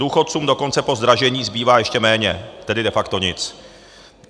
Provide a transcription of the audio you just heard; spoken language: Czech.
Důchodcům dokonce po zdražení zbývá ještě méně, tedy de facto nic.